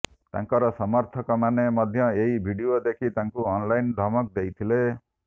ତାଙ୍କର ସମର୍ଥକ ମାନେ ମଧ୍ୟ ଏହି ଭିଡିଓ ଦେଖି ତାଙ୍କୁ ଅନଲାଇନ୍ ଧମକ ଦେଇଥିଲେ